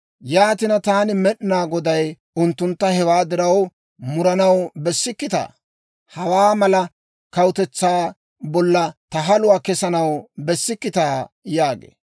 Yaatina, taani Med'inaa Goday unttuntta hewaa diraw, muranaw bessikkitaa? Hawaa mala kawutetsaa bolla ta haluwaa kessanaw bessikkitaa?» yaagee.